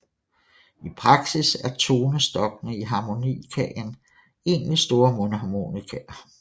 I praksis er tonestokkene i harmonikaen egentlig store mundharmonikaer